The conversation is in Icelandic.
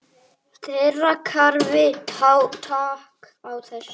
Þeirra kerfi taki á þessu.